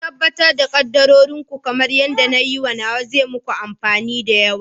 Ku tabbatar da kaddarorin ku kamar yadda na yi nawa, zai yi muku amfani da yawa.